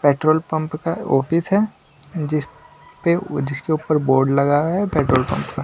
petrol pump का office है जिस पे जिसके ऊपर बोर्ड लगा हुआ है पेट्रोल पंप का--